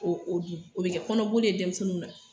O bɛ kɛ kɔnɔboli ye denmisɛnninw na.